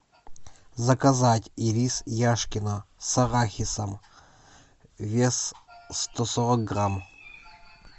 заказать ирис яшкино с арахисом вес сто сорок грамм